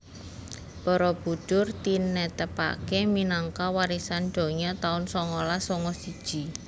Barabudhur tinetepake minangka warisan donya taun songolas songo siji